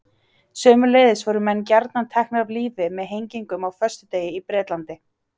Sömuleiðis voru menn gjarnan teknir af lífi með hengingu á föstudegi í Bretlandi.